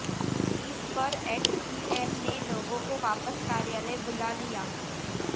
इस पर एक्सईएन ने लोगों को वापस कार्यालय बुला लिया